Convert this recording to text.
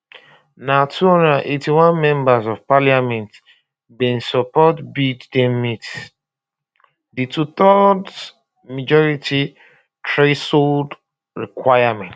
na 281 members of parliament um bin support bid dem meet um di twothirds majority threshold requirement